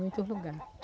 Muito lugar.